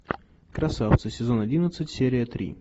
красавцы сезон одиннадцать серия три